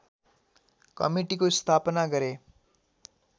कमिटीको स्थापना गरे